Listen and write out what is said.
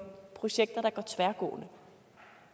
at sikre